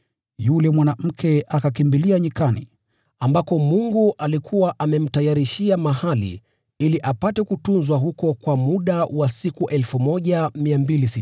Yule mwanamke akakimbilia jangwani, ambako Mungu alikuwa amemtayarishia mahali ili apate kutunzwa huko kwa muda wa siku 1,260.